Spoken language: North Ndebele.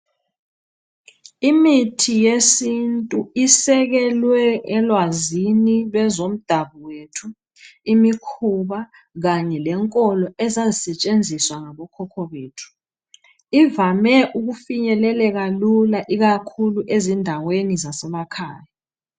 Imithi yesintu isekelwe elwazini lwezomdabuko yethu imikhuba kanye lenkolo ezazisetshenziswa ngabokhokho bethu ivame ukufinyeleleka lula ikakhulu ezindaweni zasemakhaya.